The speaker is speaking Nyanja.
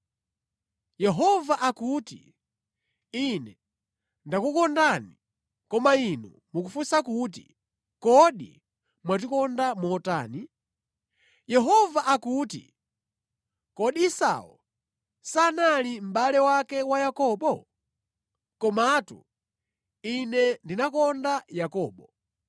Yehova akuti, “Ine ndakukondani. Koma inu mukufunsa kuti, ‘Kodi mwatikonda motani?’ ” Yehova akuti, “Kodi Esau sanali mʼbale wake wa Yakobo? Komatu Ine ndinakonda Yakobo,